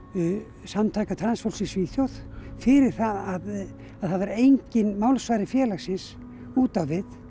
samtaka transfólks í Svíþjóð fyrir það að það var enginn málsvari félagsins út á við